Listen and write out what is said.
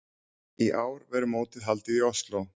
Í ár verður mótið haldið í Osló.